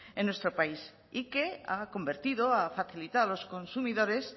en nuestro país y que ha convertido ha facilitado a los consumidores